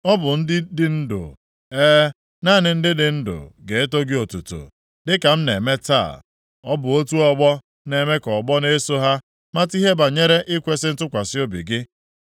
Ọ bụ ndị dị ndụ, e, naanị ndị dị ndụ ga-eto gị otuto, dị ka m na-eme taa. Ọ bụ otu ọgbọ na-eme ka ọgbọ na-eso ha mata ihe banyere ikwesi ntụkwasị obi gị.